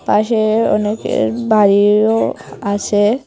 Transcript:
পাশে অনেকের বাড়িও আছে।